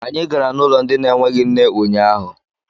Anyị gara n'ụlọ ndị na-enweghị nne unyaahụ.